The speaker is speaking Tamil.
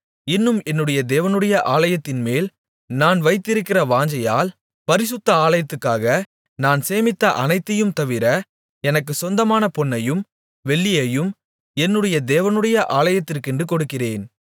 இன்னும் என்னுடைய தேவனுடைய ஆலயத்தின்மேல் நான் வைத்திருக்கிற வாஞ்சையால் பரிசுத்த ஆலயத்துக்காக நான் சேமித்த அனைத்தையும்தவிர எனக்குச் சொந்தமான பொன்னையும் வெள்ளியையும் என்னுடைய தேவனுடைய ஆலயத்துக்கென்று கொடுக்கிறேன்